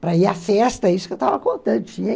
Para ir à festa, isso que eu estava contando.